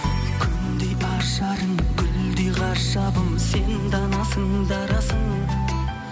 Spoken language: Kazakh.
күндей ажарың гүлдей ғажабым сен данасың дарасың